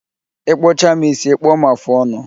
Ịkpụcha m ísí, ịkpụọ m afụ ọnụ